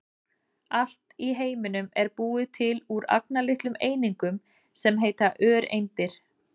Allt í heiminum er búið til úr agnarlitlum einingum sem heita öreindir.